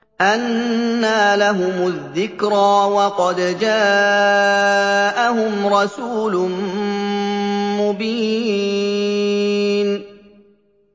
أَنَّىٰ لَهُمُ الذِّكْرَىٰ وَقَدْ جَاءَهُمْ رَسُولٌ مُّبِينٌ